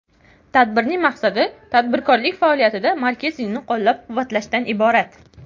Tadbirning maqsadi tadbirkorlik faoliyatida marketingni qo‘llab-quvvatlashdan iborat.